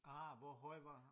Ah hvor høj var